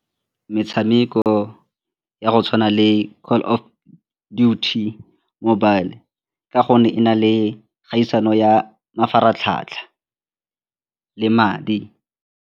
Metshameko ya go tshwana le Call of Duty mobile ka gonne e na le kgaisano ya mafaratlhatlha le madi.